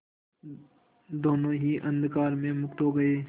दोेनों ही अंधकार में मुक्त हो गए